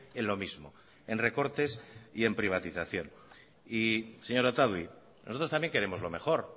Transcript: en lo mismo en recortes y en privatización señora otadui nosotros también queremos lo mejor